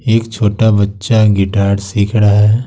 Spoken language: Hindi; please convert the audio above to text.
एक छोटा बच्चा गिटार सीख रहा है।